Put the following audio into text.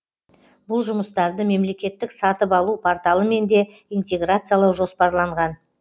бұл жұмыстарды мемлекеттік сатып алу порталымен де интеграциялау жоспарланған